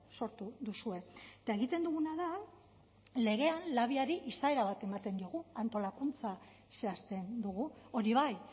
sortu duzue eta egiten duguna da legean labiari izaera bat ematen diogu antolakuntza zehazten dugu hori bai